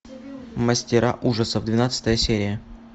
мастера ужасов двенадцатая серия